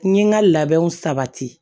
N ye n ka labɛnw sabati